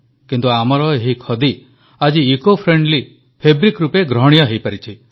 କିନ୍ତୁ ଆମର ଏହି ଖଦି ଆଜି ଇକୋଫ୍ରେଣ୍ଡଲି ଫାବ୍ରିକ୍ ରୂପେ ଗ୍ରହଣୀୟ ହୋଇପାରିଛି